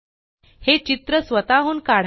हे चित्र स्वतःहून काढा